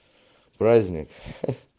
праздник